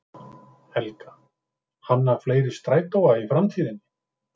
Helga: Hanna fleiri strætóa í framtíðinni?